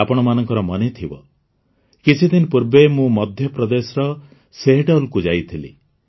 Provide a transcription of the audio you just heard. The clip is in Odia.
ଆପଣମାନଙ୍କର ମନେଥିବ କିଛିଦିନ ପୂର୍ବେ ମୁଁ ମଧ୍ୟପ୍ରଦେଶର ଶେହେଡଲ୍କୁ ଯାଇଥିଲି